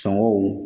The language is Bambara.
Sɔngɔw